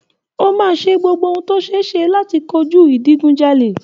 O máa ṣe gbogbo ohun tí ó ṣeéṣe láti kojú ìdigunjalè